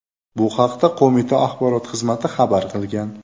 Bu haqda qo‘mita axborot xizmati xabar qilgan .